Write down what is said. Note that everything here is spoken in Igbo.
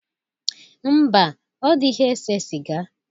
Mba, ọ dịghị ese sịga.